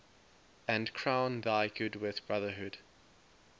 and crown thy good with brotherhood